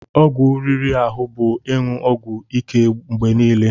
Ọgwụ riri ahụ bụ ịṅụ ọgwụ ike mgbe niile.